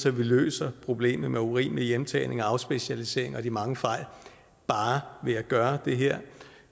at vi løser problemet med urimelig hjemtagning afspecialisering og de mange fejl bare ved at gøre det her